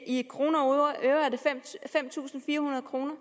i kroner og øre er det fem tusind fire hundrede kroner